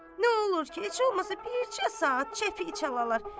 Nə olur ki, heç olmasa bircə saat çəpiy çalar.